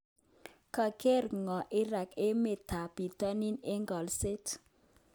Kager'ngog Iran emet tab Bitonin eng ngo'lset.